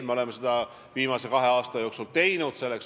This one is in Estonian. Me oleme sellega viimase kahe aasta jooksul tegelenud.